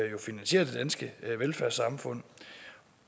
jo finansierer det danske velfærdssamfund